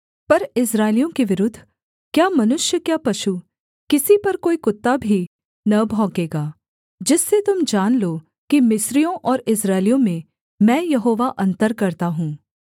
पर इस्राएलियों के विरुद्ध क्या मनुष्य क्या पशु किसी पर कोई कुत्ता भी न भौंकेगा जिससे तुम जान लो कि मिस्रियों और इस्राएलियों में मैं यहोवा अन्तर करता हूँ